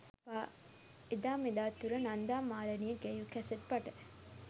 එදා මෙදා තුරා නන්දා මාලනිය ගැයූ කැසට් පට